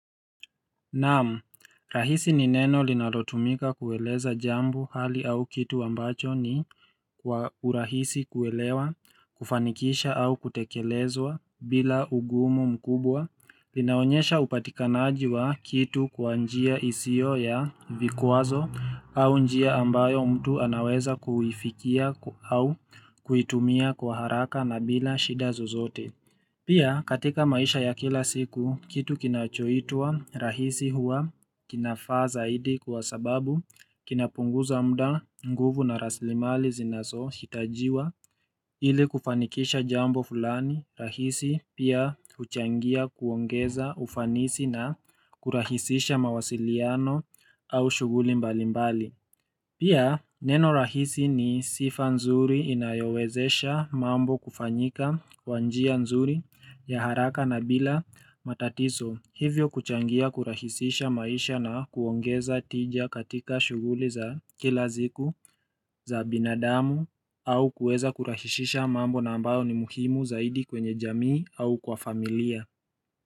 Naam, rahisi ni neno linalotumika kueleza jambo hali au kitu ambacho ni kwa urahisi kuelewa, kufanikisha au kutekelezwa bila ugumu mkubwa. Linaonyesha upatikanaji wa kitu kwa njia isio ya vikwazo au njia ambayo mtu anaweza kuifikia au kuitumia kwa haraka na bila shida zozote. Pia katika maisha ya kila siku kitu kinachoitwa rahisi huwa kinafaa zaidi kwa sababu kinapunguza muda nguvu na rasilimali zinazo hitajiwa ili kufanikisha jambo fulani rahisi pia huchangia kuongeza ufanisi na kurahisisha mawasiliano au shughuli mbali mbali. Pia neno rahisi ni sifa nzuri inayowezesha mambo kufanyika kwa njia nzuri ya haraka na bila matatizo hivyo kuchangia kurahisisha maisha na kuongeza tija katika shughuli za kila siku za binadamu au kuweza kurahisisha mambo na ambayo ni muhimu zaidi kwenye jamii au kwa familia.